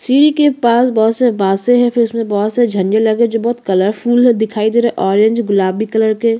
सीढ़ी के पास बहोत सारी बांसे हैं फिर उसमे बहुत सारे झंडे लगे जो बहुत कलरफुल दिखाई दे रहे हैं ऑरेंज गुलाबी कलर के--